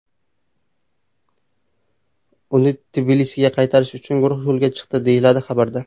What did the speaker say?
Uni Tbilisiga qaytarish uchun guruh yo‘lga chiqdi”, - deyiladi xabarda.